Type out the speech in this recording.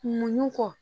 Muɲu kɔ